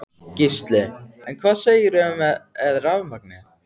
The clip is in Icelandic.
Gísli: En hvað segirðu með rafmagnið?